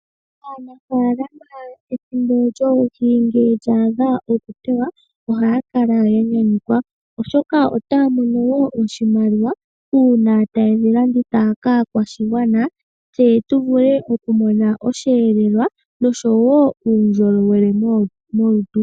Aanafaalama ethimbo lyoohi ngele dha adha okuteywa ohaya kala ya nyanyukwa, oshoka otaya mono wo oshimaliwa uuna taye dhi landitha kaakwashigwana, yo ya vule okumona osheelelwa noshowo uundjolowele molutu.